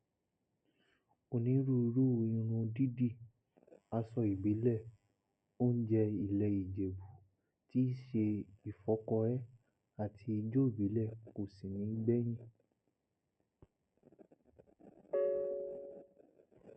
onírúurú irun dídi aṣọ ìbílẹ oúnjẹ ilẹ ìjẹbù tíì ṣe ìfọkọrẹ àti ìjọ ìbílẹ kò sì ní gbẹyìn